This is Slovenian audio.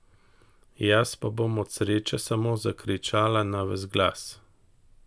Jaz pa bom od sreče samo zakričala na ves glas!